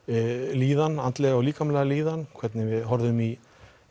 líðan andlega og líkamlega líðan hvernig við horfðum í